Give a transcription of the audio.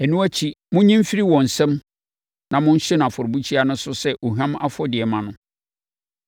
Ɛno akyi, monnye mfiri wɔn nsam na monhye no afɔrebukyia no so sɛ ohwam afɔdeɛ mma no.